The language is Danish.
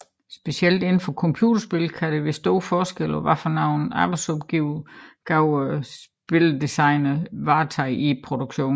Specielt indenfor computerspil kan der være stor forskel på hvilke arbejdsopgaver spildesigneren varetager i en produktion